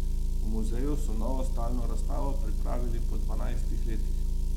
V muzeju so novo stalno razstavo pripravili po dvanajstih letih.